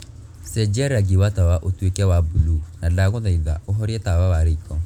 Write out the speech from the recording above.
cenjia rangi wa tawa ũtuĩke wa buluu na ndagũthaitha ũhorie tawa wa riko